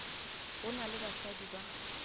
go na le basadi ba